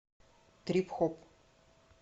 трип хоп